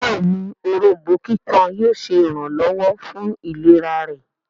béèni Òrombó kíkan yíò ṣe iranlọwọ fún ìlera rẹ.